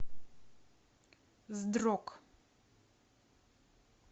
здрок